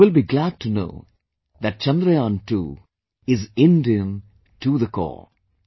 You will be glad to know that Chandrayaan II is INDIAN to the core